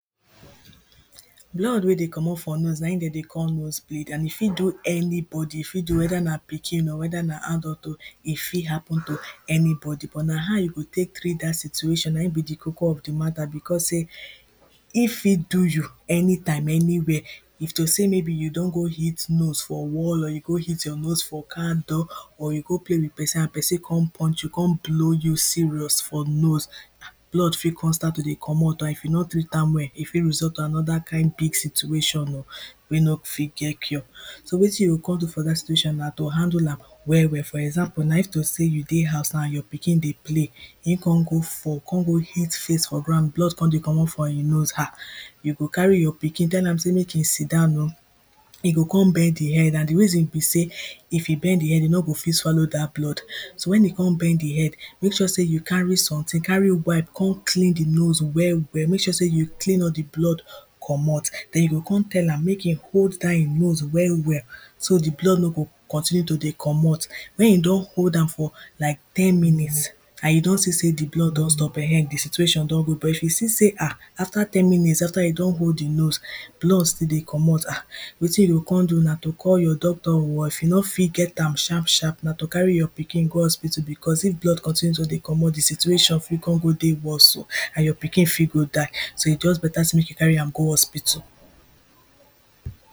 Blood wey dey comot for nose na dem dey call nose bleed and e fit do anybody. E fit do weda na pikin oh, weda na adult oh E fit hapun to any body, but na how you go take treat dat situation na be di koko of di matter becos say e fit do you any time any where. If to say maybe you don go hit nose for wall or you go hit your nose for car door or you go play with person and person go punch you, come blow you serious for nose blood fit come start to dey comot or if you no treat am well, e fit result to another kind big situation oh wey no go fit get cure. So wetin you go come do for dat situation na to handle am well well. For example now, if to sey you dey house na and your pikin dey play e come go fall come go hit face for ground, blood come dey comot for im nose um you go carry your pikin tell am sey make e sit-down oh, e go come bend im head and di reason be say if e bend im head e no go fit swallow dat blood. So wen e come bend im head make sure say you carry something, carry wipe come clean di nose well well. Make sure say you clean all di blood comot, then you go come tell am make e hold dat im nose well well so di blood no go continue to dey comot. Wen e don hold am for like ten minutes and you don see say di blood don stop um di situation don good, but if you see say um after ten minutes, after you don hold di nose blood still dey comot um wetin you go come do na to call your doctor oh or if you no fit get am sharp sharp na to carry your pikin go hospital becos if blood continue to dey comot di situation fit come go dey worst o and you pikin fit go die, so e just better say make you carry am go hospital